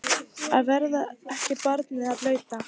Að verða ekki barnið blauta